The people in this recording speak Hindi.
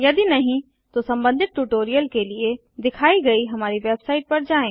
यदि नहीं तो संबंधित ट्यूटोरियल के लिए दिखाई गई हमारी वेबसाइट पर जाएँ